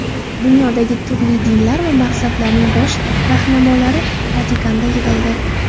Dunyodagi turli dinlar va mazhablarning bosh rahnamolari Vatikanda yig‘ildi.